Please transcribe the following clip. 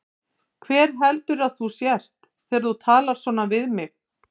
Hver heldurðu að þú sért þegar þú talar svona við mig?